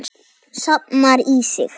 Safnar í sig.